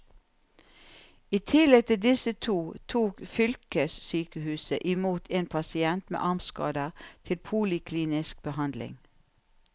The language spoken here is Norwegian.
I tillegg til disse to tok fylkessykehuset i mot en pasient med armskader til poliklinisk behandling.